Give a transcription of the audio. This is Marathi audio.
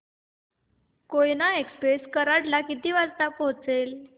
कोयना एक्सप्रेस कराड ला किती वाजता पोहचेल